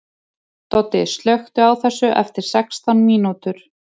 Doddi, slökktu á þessu eftir sextán mínútur.